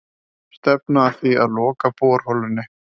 Stefna að því að loka borholunni